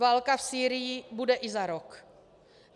Válka v Sýrii bude i za rok.